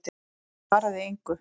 Ég svaraði engu.